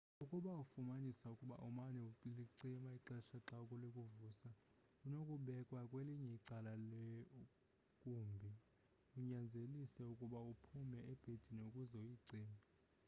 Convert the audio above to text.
ukuba ufumanisa ukuba umane ulicima ixesha xa likuvusa inokubekwa kwelinye icala leumbi inyanzelise ukuba uphume ebhedini ukuze uyicime